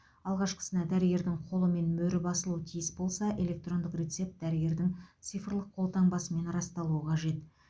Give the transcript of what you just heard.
алғашқысына дәрігердің қолы мен мөрі басылуы тиіс болса электрондық рецепт дәрігердің цифрлық қолтаңбасымен расталуы қажет